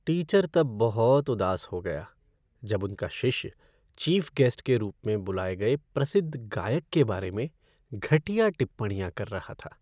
Teacher तब बहुत उदास हो गया जब उनका शिष्य चीफ़ गेस्ट के रूप में बुलाये गए प्रसिद्ध गायक के बारे में घटिया टिप्पणियां कर रहा था।